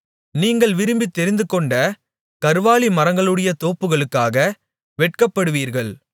நீங்கள் விரும்பி தெரிந்துக்கொண்ட கர்வாலிமரங்களுடைய தோப்புகளுக்காக வெட்கப்படுவீர்கள்